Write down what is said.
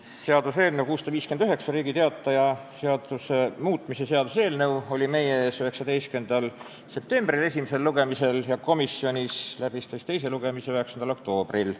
Seaduseelnõu 659, Riigi Teataja seaduse muutmise seaduse eelnõu, oli meie ees esimesel lugemisel 19. septembril ja komisjonis oli teise lugemise arutelu 9. oktoobril.